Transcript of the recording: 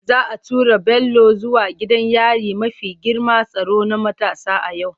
Za a tura Bello zuwa gidan yari mafi girman tsaro na matasa a yau.